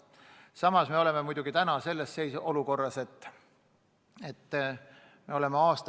Samas me oleme praegu olukorras, kus me oleme aastaid olnud.